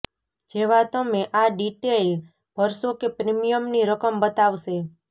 જેવા તમે આ ડિટેઈલ ભરશો કે પ્રીમિયમની રકમ બતાવશે